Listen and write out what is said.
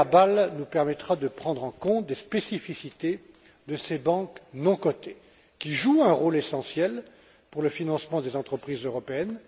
trouvé à Bâle nous permettra de prendre en compte des spécificités de ces banques non cotées, qui jouent un rôle essentiel pour le financement des entreprises européennes.